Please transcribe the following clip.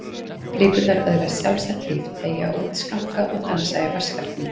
Flíkurnar öðlast sjálfstætt líf, teygja út skanka og dansa í vatnselgnum.